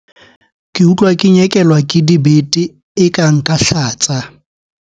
Ke utlwa ke nyekelwa ke dibete eka nka hlatsa.